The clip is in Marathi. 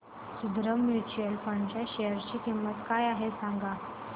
सुंदरम म्यूचुअल फंड च्या शेअर ची किंमत काय आहे सांगा